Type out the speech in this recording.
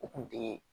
U kun tɛ